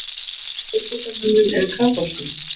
Siðbótarmönnum eða kaþólskum?